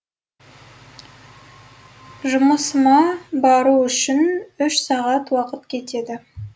жұмысыма бару үшін үш сағат уақыт кетеді